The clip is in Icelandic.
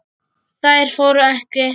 Þær fóru ekki.